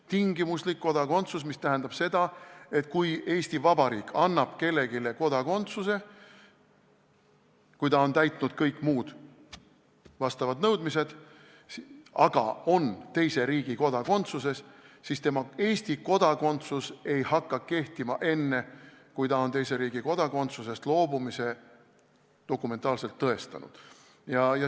Tingimuslik kodakondsus tähendab seda, et kui Eesti Vabariik annab kellelegi kodakondsuse, siis juhul, kui see isik on täitnud kõik vastavad nõudmised, aga on teise riigi kodakondsuses, ei hakka tema Eesti kodakondsus kehtima enne, kui ta on teise riigi kodakondsusest loobumise dokumentaalselt tõestanud.